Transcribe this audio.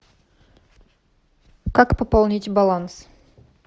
как пополнить баланс